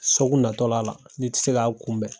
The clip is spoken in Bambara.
Sɔgu natɔla la ne tɛ se k'a kunbɛn.